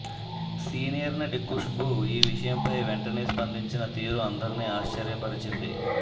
senior నటి ఖుష్బూ ఈ విషయంపై వెంటనే స్పందించిన తీరు అందరిని ఆశ్చర్యపరచింది